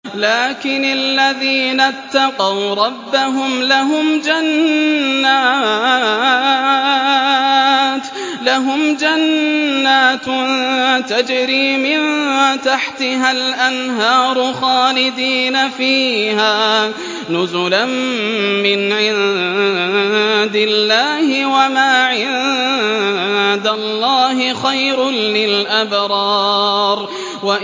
لَٰكِنِ الَّذِينَ اتَّقَوْا رَبَّهُمْ لَهُمْ جَنَّاتٌ تَجْرِي مِن تَحْتِهَا الْأَنْهَارُ خَالِدِينَ فِيهَا نُزُلًا مِّنْ عِندِ اللَّهِ ۗ وَمَا عِندَ اللَّهِ خَيْرٌ لِّلْأَبْرَارِ